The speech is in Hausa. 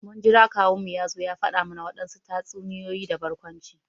Mun jira kawun mu ya zo ya fada mana wadansu tatsuniyoyi da barkwanci.